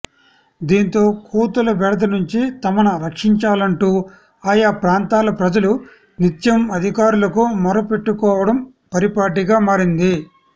దీంతో కోతుల బెడద నుంచి తమను రక్షించాలంటూ ఆయా ప్రాంతాల ప్రజలు నిత్యం అధికారులకు మొర పెట్టుకోవడం పరిపాటిగా మారింది